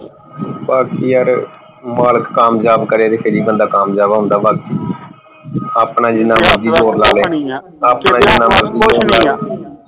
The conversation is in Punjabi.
ਬੱਸ ਯਾਰ ਮਾਲਕ ਕਾਮਯਾਬ ਕਰੇ ਫੇਰ ਹੀ ਬੰਦਾ ਕਾਮਯਾਬ ਹੁੰਦਾ ਬਾਕੀ ਆਪਣਾ ਜਿੰਨਾ ਮਰਜੀ ਜ਼ੋਰ